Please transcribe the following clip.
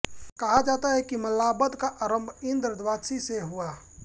कहा जाता है कि मल्लाब्द का आरम्भ इन्द्र द्वादशी से हुआ